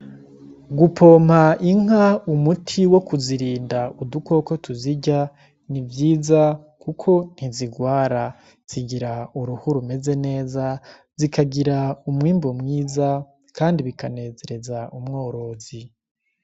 Gupompa inka umuti wo kuzirinda udukoko tuzirya, ni vyiza kuko ntizigwara zigira uruhu rumeze neza zikagira umwimbu mwiza. Kandi bikanezereza umworozi.